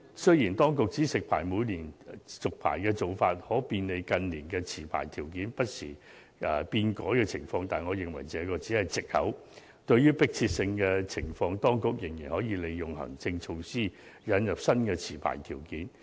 雖然，當局指食牌每年續牌的做法可便利近年持牌條件不時變改的情況，但我認為這只是藉口，對迫切性的情況，當局仍可利用行政措施，引入新的持牌條件。